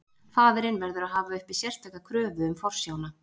Faðirinn verður að hafa uppi sérstaka kröfu um forsjána.